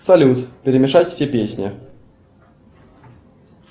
салют перемешать все песни